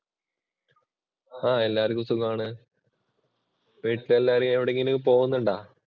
എല്ലാര്ക്കും സുഖം ആണ്. വീട്ടിലെല്ലാവരും എവിടെക്കെങ്കിലും പോകുന്നുണ്ടോ?